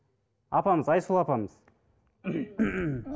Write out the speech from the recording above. апамыз айсұлу апамыз